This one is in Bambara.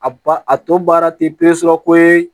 A ba a tɔ baara tɛ ko ye